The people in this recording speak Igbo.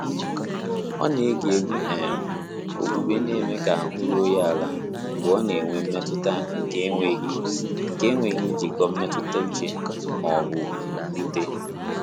Ọ́ nà-égé égwú um ókpùkpé nà-émé kà áhụ́ rúó yá álá mgbè ọ́ nà-ènwé mmétụ́tà nké énwéghị́ nké énwéghị́ njìkọ́ mmétụ́tà úchè mà ọ́ bụ̀ mwúté.